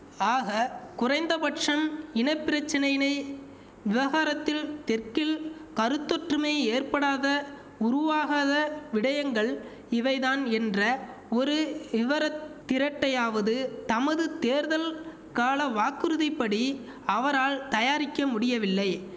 ஆக குறைந்த பட்சம் இன பிரச்சனை இனை விவகாரத்தில் தெற்கில் கருத்தொற்றுமை ஏற்படாத உருவாகாத விடயங்கள் இவைதான் என்ற ஒரு இவரத் திரட்டையாவது தமது தேர்தல் கால வாக்குறுதிப்படி அவரால் தயாரிக்க முடியவில்லை